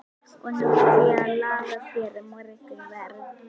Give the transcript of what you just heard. Og nú ætla ég að laga þér morgunverð.